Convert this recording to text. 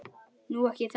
Nú. ekki það?